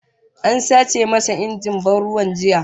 An sace masa injin ban ruwa jiya